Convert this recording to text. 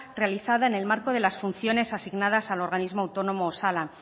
realizada en el marco de las funciones asignadas al organismo autónomo osalan